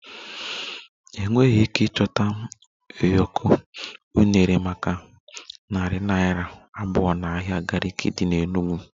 Enweghị ike ịchọta ụyọkọ unere maka narị naira abụọ n'ahịa Gariki dị n'Enugwu